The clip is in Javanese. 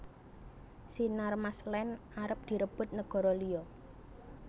Sinarmas Land arep direbut negoro liyo